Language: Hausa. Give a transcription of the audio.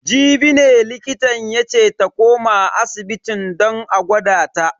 Jibi ne likitan yace ta koma asibitin don a gwada ta.